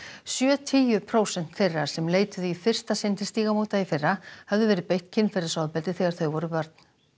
sjötíu prósent þeirra sem leituðu í fyrsta sinn til Stígamóta í fyrra höfðu verið beitt kynferðisofbeldi þegar þau voru börn